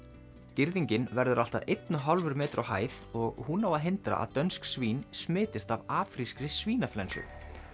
girðingin verður allt að einn og hálfur metri á hæð og hún á að hindra að dönsk svín smitist af af afrískri svínaflensu